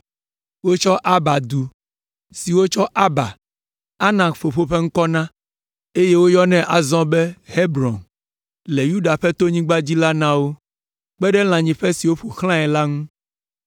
Wotsɔ Arba du, si wotsɔ Arba, Anak fofo ƒe ŋkɔ na, eye woyɔnɛ azɔ be Hebron le Yuda ƒe tonyigba dzi la na wo, kpe ɖe lãnyiƒe si ƒo xlãe la ŋu.